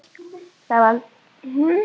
Það var varla að við fylgdum samtalinu eftir.